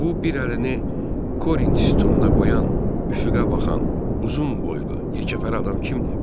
Bu bir əlini Korinç sütununa qoyan, üfüqə baxan, uzun boylu, yekəfəhər adam kimdir?